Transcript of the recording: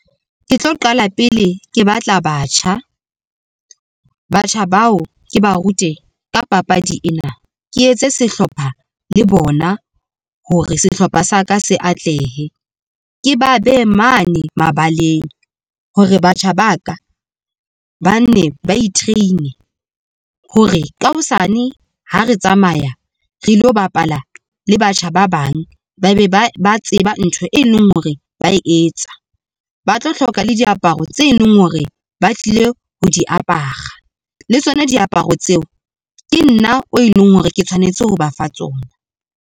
Ke tlo qala pele ke batla batjha, batjha bao ke ba rute ka papadi ena ke etse sehlopha le bona hore sehlopha sa ka se atlehe. Ke ba behe mane mabaleng hore batjha baka ba nne ba itreine hore ka hosane ha re tsamaya re lo bapala le batjha. Ba bang ba be ba ba tseba ntho, e leng hore ba e etsa, ba tlo hloka le diaparo tse leng hore ba tlile ho di apara le tsona. Diaparo tseo ke nna o e leng hore ke tshwanetse ho ba fa tsona.